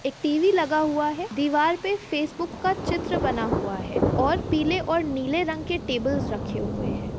एक टी.वी लगा हुआ है। दीवार पर फेसबुक का चित्र बना हुआ है और पीले और नीले रंग के टेबल रखे हुए हैं।